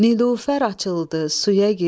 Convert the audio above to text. Nilufər açıldı suya girdi,